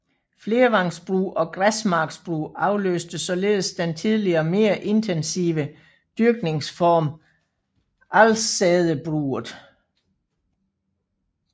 Flervangsbrug og græsmarksbrug afløste således den tidligere mere intensive dyrkningsform alsædebruget